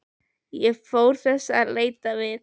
Fór ég þess á leit við